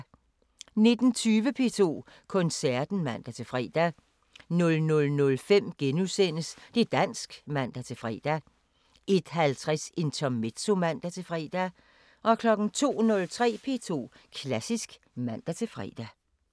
19:20: P2 Koncerten (man-fre) 00:05: Det´ dansk *(man-fre) 01:50: Intermezzo (man-fre) 02:03: P2 Klassisk (man-fre)